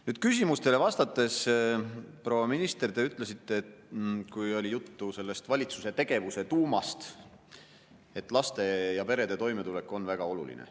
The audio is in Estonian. Nüüd, küsimustele vastates, proua minister, te ütlesite, kui oli juttu valitsuse tegevuse tuumast, et laste ja perede toimetulek on väga oluline.